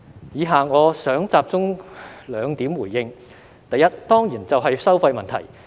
以下我想集中兩點回應：第一，當然就是收費問題。